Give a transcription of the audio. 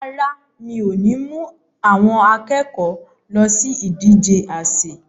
Rárá, mi ò ní mú àwọn akẹ́kọ̀ọ́ lọ sí ìdije àsè.